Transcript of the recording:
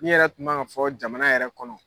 Min yɛrɛ tun man ka fɔ jamana yɛrɛ kɔnɔ!